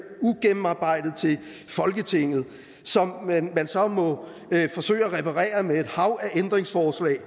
ugennemarbejdet til folketinget som man så må forsøge at reparere med et hav af ændringsforslag